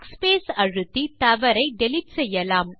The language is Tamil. backspace அழுத்தி தவறை டிலீட் செய்யலாம்